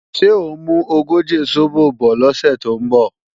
Ṣé ò ń mú ogóje sóbò bọ̀ lọ́sẹ̀ tó ń bọ̀?